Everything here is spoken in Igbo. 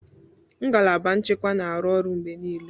Ngalaba nchekwa na-arụ ọrụ mgbe niile